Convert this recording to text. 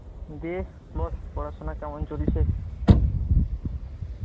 দিয়ে বল পড়াশোনা কেমন চলছে?